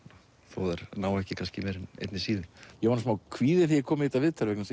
þó þær nái ekki kannski meira en einni síðu ég var smá kvíðinn þegar ég kom í viðtalið